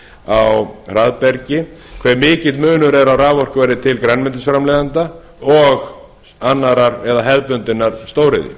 á hraðbergi hve mikill munur er á raforkuverði til grænmetisframleiðenda og annarrar eða hefðbundinnar stóriðju